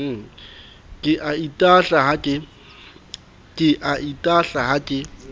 ke a itahla ha ke